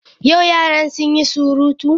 Yau yaran sun yi surutu?